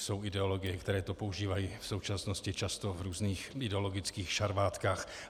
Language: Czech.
Jsou ideologie, které to používají v současnosti často v různých ideologických šarvátkách.